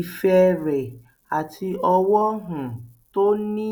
ìfẹ rẹ àti ọwọ um tó ní